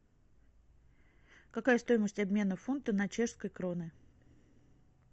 какая стоимость обмена фунта на чешской кроны